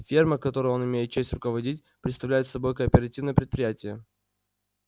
ферма которой он имеет честь руководить представляет собой кооперативное предприятие